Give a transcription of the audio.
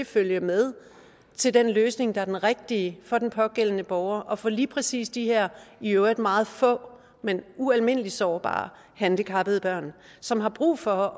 følge med den løsning der er den rigtige for den pågældende borger og for lige præcis de her i øvrigt meget få men ualmindelig sårbare handicappede børn som har brug for